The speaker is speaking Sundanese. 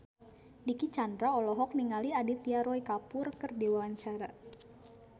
Dicky Chandra olohok ningali Aditya Roy Kapoor keur diwawancara